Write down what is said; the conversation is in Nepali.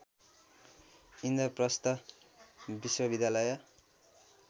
इन्द्रप्रस्थ विश्वविद्यालय